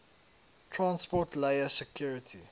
transport layer security